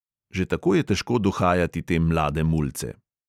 Že tako je težko dohajati te mlade mulce.